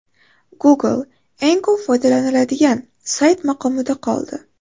Google eng ko‘p foydalaniladigan sayt maqomida qoldi.